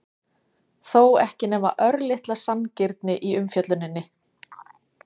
þó ekki nema örlitla sanngirni í umfjölluninni?